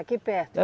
Aqui perto?